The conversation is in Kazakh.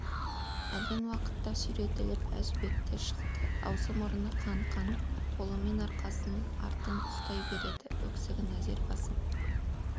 әлден уақытта сүйретіліп әжібек те шықты аузы-мұрны қан-қан қолымен арқасын артын ұстай береді өксігін әзер деп басып